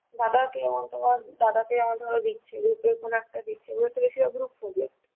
দাদা কে যেমন তোমার দাদা কে যেমন ধরো দিচ্ছে group এর কোনো একটা দিচ্ছে ও তো বেশি group project.